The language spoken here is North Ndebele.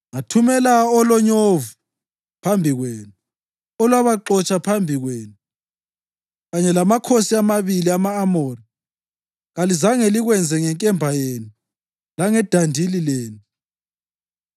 Ngathumela olonyovu phambi kwenu, olwabaxotsha phambi kwenu kanye lamakhosi amabili ama-Amori. Kalizange likwenze ngenkemba yenu langedandili lenu.